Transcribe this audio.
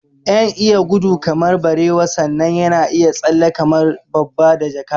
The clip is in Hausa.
Yan iya gudu kamar barewa sannan yana iya tsalle kamar babba da jaka